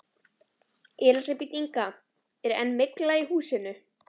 Elísabet Inga: Er enn mygla í húsinu?